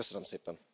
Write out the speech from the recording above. Köszönöm szépen!